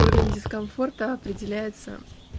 уровень дискомфорта определяется